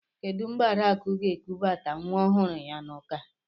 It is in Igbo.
Kedụ mgbe Adakụ ga-ekubata nwa ọhụrụ ya n'ụka?